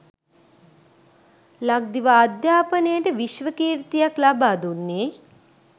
ලක්දිව අධ්‍යාපනයට විශ්ව කීර්තියක් ලබාදුන්නේ